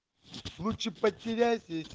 лучше потерять эти